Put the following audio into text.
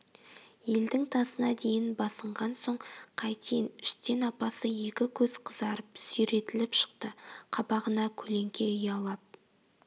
елдің тазына дейін басынған соң қайтейін іштен апасы екі көз қызарып сүйретіліп шықты қабағына көлеңке ұялап